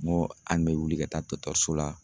Ŋo an bɛ wuli ka taa so la